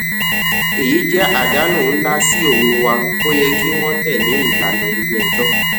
èyí jẹ àdánù nlá sí owó wa o yẹ kí wọn tẹlé ìlànà ilé ẹjọ